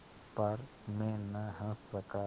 पर मैं न हँस सका